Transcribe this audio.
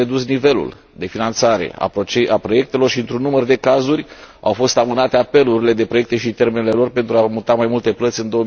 A fost redus nivelul de finanțare a proiectelor și, într un număr de cazuri, au fost amânate apelurile de proiecte și termenele lor, pentru a muta mai multe plăți în